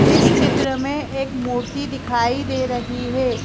इस चित्र में एक मूर्ति दिखाई दे रही है।